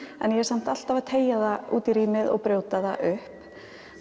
en ég er samt alltaf að teygja það út í rýmið og brjóta það upp